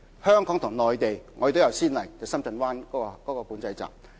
香港和內地都有先例，那便是深圳灣管制站。